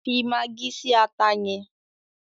Fi magí si ata yẹn!